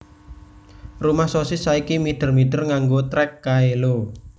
Rumah Sosis saiki mider mider nganggo trek kae lho